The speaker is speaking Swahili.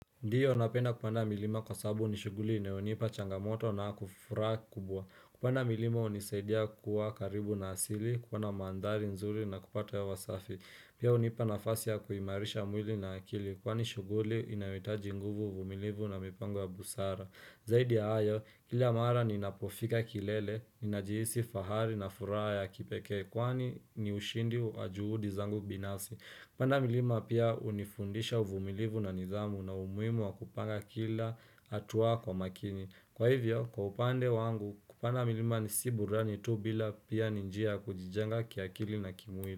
Ndiyo napenda kupanda milima kwa sababu ni shughuli inayonipa changamoto na furaha kubwa. Kupanda milima hunisaidia kuwa karibu na asili, kuona mandhari nzuri na kupata ya hewa safi. Pia hunipa nafasi ya kuimarisha mwili na akili kwani shughuli inahitaji nguvu, uvumilivu na mipango ya busara. Zaidi ya hayo, kila mara ninapofika kilele, ninajihisi fahari na furaha ya kipekee, kwani ni ushindi wa juhudi zangu binasi. Kupanda milima pia hunifundisha uvumilivu na nidhamu na umuhimu wa kupanga kila hatua kwa makini. Kwa hivyo, kwa upande wangu, kupanda milima si burudani tu bila pia ni njia kujijenga kiakili na kimwili.